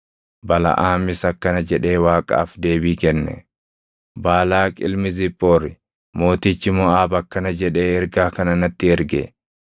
Balaʼaamis akkana jedhee Waaqaaf deebii kenne; “Baalaaq ilmi Ziphoori, mootichi Moʼaab akkana jedhee ergaa kana natti erge: